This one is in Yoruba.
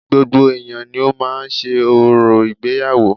Gbogbo ẹ̀yà ni ó máa ń ṣe orò ìgbéyàwó